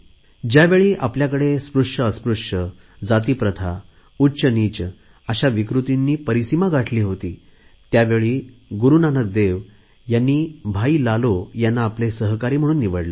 ज्यावेळी आपल्याकडे स्पृश्यअस्पृश्य जाती प्रथा उच्चनीच अशा विकृती चरम सीमेला पोहचल्या होत्या त्यावेळी गुरुनानक देव यांनी भाई लालो यांना आपले सहकारी म्हणून निवडले